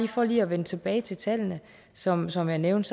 for at vende tilbage til tallene som som jeg nævnte